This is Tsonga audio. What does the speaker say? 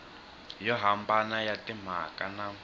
yo hambana ya timhaka na